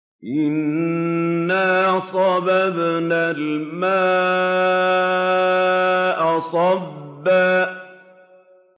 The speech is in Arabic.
أَنَّا صَبَبْنَا الْمَاءَ صَبًّا